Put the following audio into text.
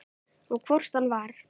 Og hvort hann var.